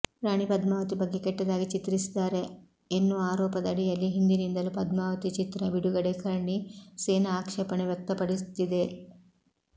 ರಾಣಿ ಪದ್ಮಾವತಿ ಬಗ್ಗೆ ಕೆಟ್ಟದಾಗಿ ಚಿತ್ರಿಸಿದ್ದಾರೆ ಎನ್ನುವ ಆರೋಪದಡಿಯಲ್ಲಿ ಹಿಂದಿನಿಂದಲೂ ಪದ್ಮಾವತಿ ಚಿತ್ರ ಬಿಡುಗಡೆ ಕರ್ಣಿ ಸೇನಾ ಆಕ್ಷೇಪಣೆ ವ್ಯಕ್ತಪಡಿಸುತ್ತಿದೆ